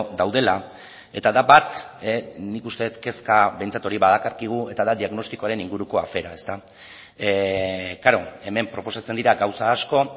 daudela eta da bat nik uste dut kezka behintzat hori badakarkigu eta da diagnostikoaren inguruko afera ezta klaro hemen proposatzen dira gauza asko